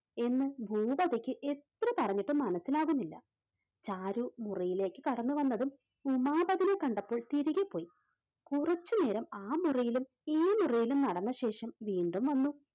എന്ന് ഭൂപതിക്ക് എത്ര പറഞ്ഞിട്ടും മനസ്സിലാകുന്നില്ല. ചാരു മുറിയിലേക്ക് കടന്നു വന്നതും ഉമാപത്തിനെ കണ്ടപ്പോൾ തിരികെ പോയി. കുറച്ചുനേരം ആ മുറിയിലും ഈ മുറിയിലും നടന്ന ശേഷം വീണ്ടും വന്നു.